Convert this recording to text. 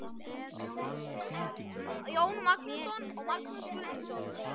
Arnórsson, Jón Magnússon og Magnús Guðmundsson.